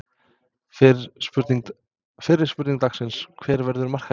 Fyrri spurning dagsins: Hver verður markahæstur?